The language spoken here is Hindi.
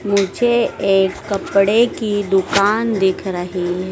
मुझे एक कपड़े की दुकान दिख रही है।